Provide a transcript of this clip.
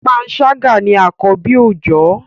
panṣaga ní akọbi oojọ